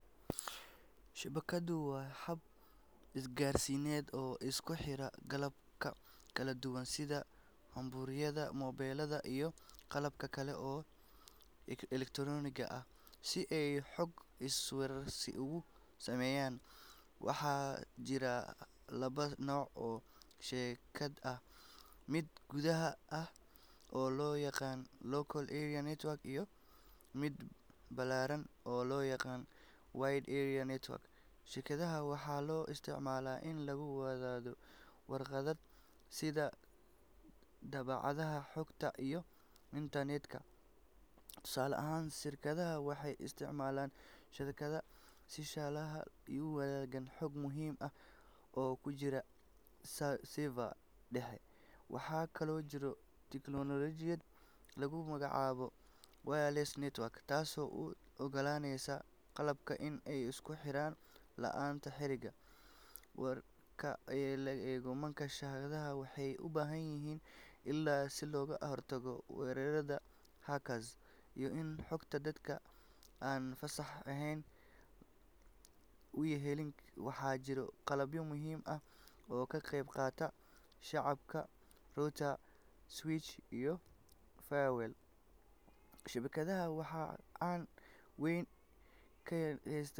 Shabakadu waa hab isgaarsiineed oo isku xira qalabka kala duwan sida kumbuyuutarada, moobilada, iyo qalabka kale ee elektaroonigga ah si ay xog isweydaarsi ugu sameeyaan. Waxaa jira laba nooc oo shabakad ah: mid gudaha ah oo loo yaqaan Local Area Network iyo mid ballaaran oo loo yaqaan Wide Area Network. Shabakadaha waxaa loo isticmaalaa in lagu wadaago kheyraad sida daabacadaha, xogta, iyo internet-ka. Tusaale ahaan, shirkadaha waxay isticmaalaan shabakad si shaqaalaha u wadaagaan xog muhiim ah oo ku jirta server dhexe. Waxaa kaloo jirta tiknoolajiyad lagu magacaabo Wireless Network taasoo u ogolaaneysa qalabka in ay isku xirmaan la’aanteed xarig. Marka la eego ammaanka, shabakadaha waxay u baahan yihiin ilaalin si looga hortago weerarada hackers iyo in xogta dadka aan fasax lahayn aysan u helin. Waxaa jira qalabyo muhiim ah oo ka qeyb qaata shabakadda sida router, switch, iyo firewall. Shabakadaha waxay gacan weyn ka geystaan.